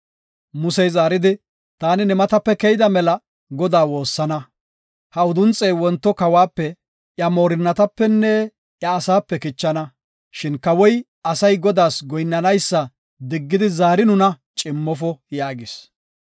Musey zaaridi, “Taani ne matape keyida mela Godaa woossana. Ha udunxey wonto kawuwape, iya moorinnatapenne iya asaape kichana. Shin kawoy asay Godaas goyinnanaysa diggidi zaari nuna cimmofo” yaagis.